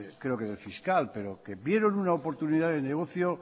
creo que de fiscal pero que vieron una oportunidad de negocio